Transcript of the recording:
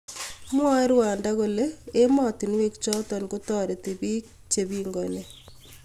Mwae Rwanda kole ematinuek chotok kotaritii bik chepingani